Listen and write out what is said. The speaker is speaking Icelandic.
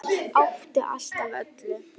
Átti allt af öllu.